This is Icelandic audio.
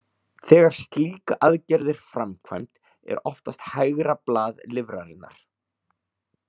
Þegar slík aðgerð er framkvæmd er oftast hægra blað lifrarinnar.